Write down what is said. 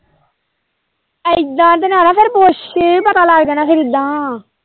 ਇੱਦਾ ਤਾਂ ਨਾ ਫੇਰ ਪੁੱਛ ਪਤਾ ਲੱਗ ਜਾਣਾ ਫੇਰ ਇੱਦਾ।